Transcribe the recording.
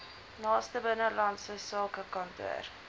naaste binnelandse sakekantoor